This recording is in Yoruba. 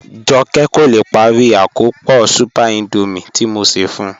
Jọkẹ kò lè pári àkọ́pọ̀ súpẹ̀r Índọ́míẹ̀ tí mò ṣẹ́ fún ù